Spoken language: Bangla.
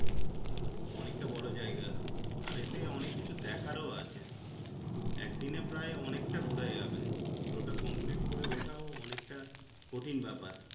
অনেকটা বড়ো জায়গা আর এতে অনেক কিছু দেখারও আছে একদিনে প্রায় অনেকটা ঘোরা যাবে পুরোটা complete করে ওঠাও কঠিন বেপার।